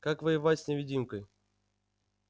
как воевать с невидимкой